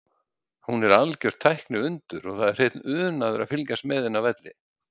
Hún er algjört tækniundur og það er hreinn unaður að fylgjast með henni á velli.